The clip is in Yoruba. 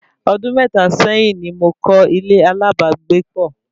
Ọdún mẹ́ta sẹ́yìn ni mo kọ́ ilé alábàágbépọ̀